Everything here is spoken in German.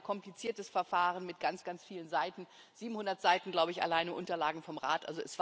Es war ein sehr kompliziertes Verfahren mit ganz, ganz vielen Seiten 700 Seiten, glaube ich, alleine an Unterlagen vom Rat.